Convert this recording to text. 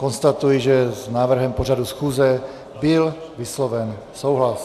Konstatuji, že s návrhem pořadu schůze byl vysloven souhlas.